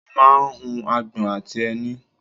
mo máa ń hu agbọ̀n àti ẹni